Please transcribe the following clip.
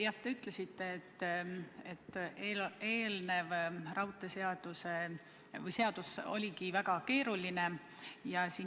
Jah, te ütlesite, et eelnev raudteeseadus oligi väga keeruline.